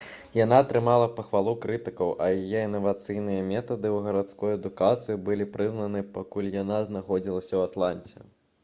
яна атрымала пахвалу крытыкаў а яе інавацыйныя метады ў гарадской адукацыі былі прызнаны пакуль яна знаходзілася ў атланце